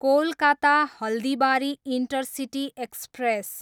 Kolkata, Haldibari intercity express